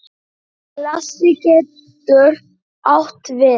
Klasi getur átt við